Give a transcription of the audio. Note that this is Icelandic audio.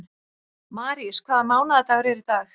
Marís, hvaða mánaðardagur er í dag?